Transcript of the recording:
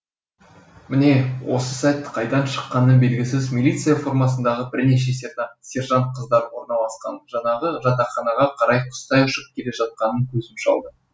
міне осы сәт қайдан шыққаны белгісіз милиция формасындағы бірнеше сержант қыздар орналасқан жаңағы жатақханаға қарай құстай ұшып келе жатқанын көзім шалды